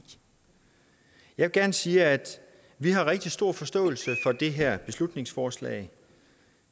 jeg vil gerne sige at vi har rigtig stor forståelse for det her beslutningsforslag